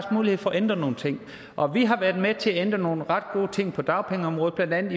mulighed for at ændre nogle ting og vi har været med til at ændre nogle ret gode ting på dagpengeområdet blandt andet